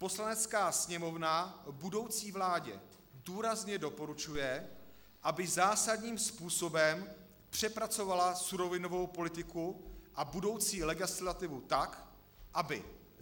Poslanecká sněmovna budoucí vládě důrazně doporučuje, aby zásadním způsobem přepracovala surovinovou politiku a budoucí legislativu tak, aby: